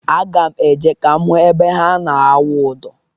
Aga m eje ka m hụ ebe ha na-awụ ụdọ.